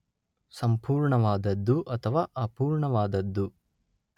ಸಂಪೂರ್ಣವಾದದ್ದು ಅಥವಾ ಅಪೂರ್ಣವಾದದ್ದು